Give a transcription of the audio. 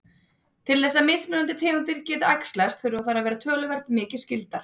Til þess að mismunandi tegundir geti æxlast þurfa þær að vera töluvert mikið skyldar.